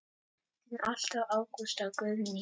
Þín alltaf Ágústa Guðný.